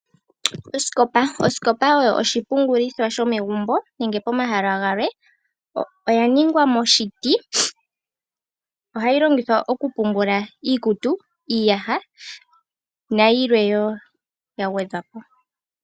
Osikopa oyo oshipungulitho shomegumbo nenge pomahala galwe oya ningwa moshiti, ohayi longithwa okupungula iikutu, iiyaha nayilwe wo ya gwedhwa po.